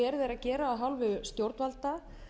gera af hálfu stjórnvalda